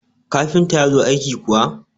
kafinta ya zo aiki kuwa?